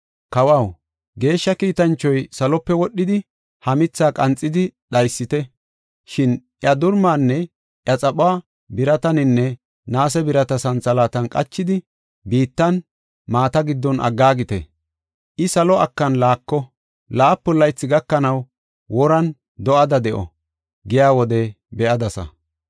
“Kawaw, geeshsha kiitanchoy salope wodhidi, ‘Ha mithaa qanxidi dhaysite; shin iya durumaanne iya xaphuwa birataninne naase birata santhalaatan qachidi, biittan, maata giddon aggaagite. I salo akan laako; laapun laythi gakanaw woran do7ada de7o’ ” giya wode be7adasa.